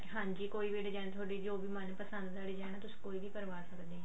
ਹਾਂਜੀ ਕੋਈ ਵੀ design ਥੋਡੀ ਜੋ ਵੀ ਮਨਪਸੰਦ ਆਲੀ design ਤੁਸੀਂ ਕੋਈ ਵੀ ਕਰਵਾ ਸਕਦੇ ਆਂ